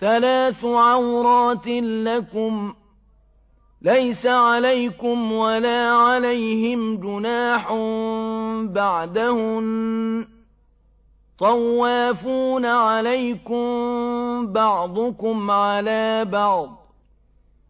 ثَلَاثُ عَوْرَاتٍ لَّكُمْ ۚ لَيْسَ عَلَيْكُمْ وَلَا عَلَيْهِمْ جُنَاحٌ بَعْدَهُنَّ ۚ طَوَّافُونَ عَلَيْكُم بَعْضُكُمْ عَلَىٰ بَعْضٍ ۚ